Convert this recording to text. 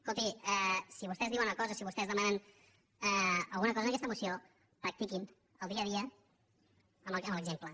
escolti si vostès diuen una cosa si vostès demanen alguna cosa en aquesta moció practiquin al dia a dia amb l’exemple